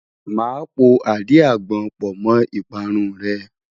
Màá po àdí-àgbon pọ̀ mọ́ ìparun rẹ.